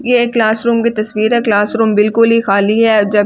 ये एक क्लासरूम की तस्वीर है क्लासरूम बिल्कुल ही खाली है जबकि बहुत सा--